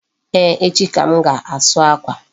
Eeh, echi ka m ga-asu akwa.